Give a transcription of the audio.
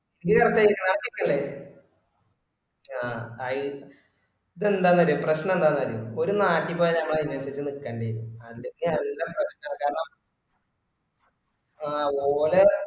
ഇയ് എവിടത്തെ നാട്ടിക്കല്ലേ ആ ഇത്‌ എന്താന്ന് അറിയോ പ്രശ്‌നം എന്താന്ന് അറിയോ ഒരുനാട്ടി പോയ ഞമ്മള് അയിന് അനുസരിച് നിക്കണ്ടി വരു അതിനൊക്കെ അറിയന്ന പ്രശ്‌നം കാരണം ആ ഓലെ